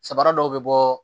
Sabara dɔw bɛ bɔ